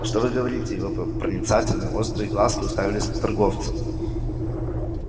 что вы говорите и его проницательные острые глазки уставились на торговца